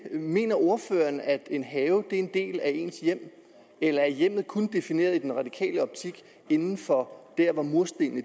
mener ordføreren at en have er en del af ens hjem eller er hjemmet kun defineret inden for hvor murstenene